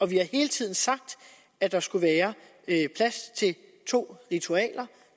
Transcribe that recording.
vi har hele tiden sagt at der skulle være plads til to ritualer